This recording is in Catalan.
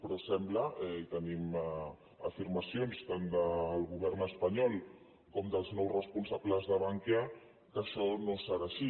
però sembla tenim afirmacions tant del govern espanyol com dels nous responsables de bankia que això no serà així